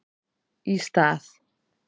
Í stað